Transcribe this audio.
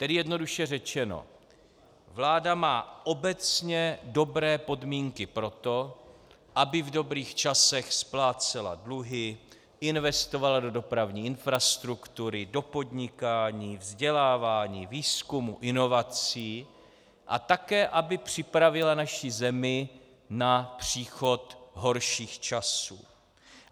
Tedy jednoduše řečeno, vláda má obecně dobré podmínky pro to, aby v dobrých časech splácela dluhy, investovala do dopravní infrastruktury, do podnikání, vzdělávání, výzkumu, inovací a také aby připravila naši zemi na příchod horších časů.